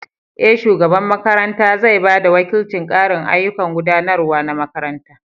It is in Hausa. Eh, shugaban makarantar zai ba da wakilcin ƙarin ayyukan gudanarwa na makaranta.